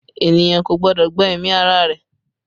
Ènìyàn kò gbọ́dọ̀ gba ẹ̀mí ara rẹ̀